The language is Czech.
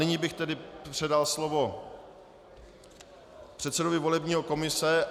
Nyní bych tedy předal slovo předsedovi volební komise.